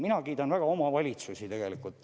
Mina kiidan väga omavalitsusi.